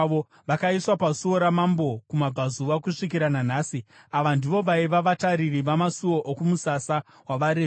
vakaiswa paSuo raMambo kumabvazuva, kusvikira nanhasi. Ava ndivo vaiva vatariri vamasuo, okumusasa wavaRevhi.